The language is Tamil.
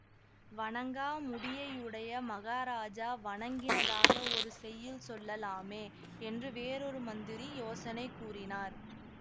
வணங்கா முடியையுடைய மகாராஜா வணங்கினதாக ஒரு செய்யுள் சொல்லலாமே என்று வேறொரு மந்திரி யோசனை கூறினார்